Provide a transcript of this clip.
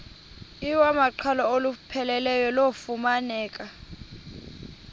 iwamaqhalo olupheleleyo lufumaneka